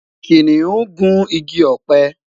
kìnìún gu ìgi ope